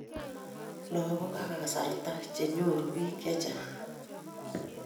langok ak kasarta chenyoru bik chechang